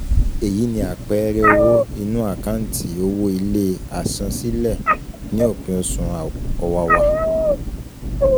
Eyi ni àpẹẹrẹ owó inú àkántì owó ilé àsansílẹ̀ ní òpin Oṣù ọ̀wàwà